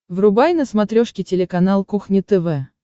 врубай на смотрешке телеканал кухня тв